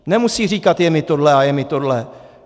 Nemusí říkat: je mi tohle a je mi tohle.